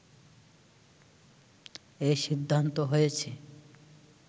এ সিদ্ধান্ত হয়েছে